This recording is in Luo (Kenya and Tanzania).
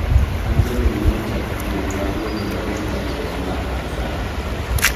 Angeline ne ochako thieth mapio mondo ogeng' landruok mar cancer no